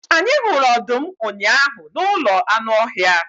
Anyị hụrụ ọdụm ụnyahụ n'ụlọ anụ ọhịa.